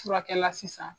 Furakɛla sisan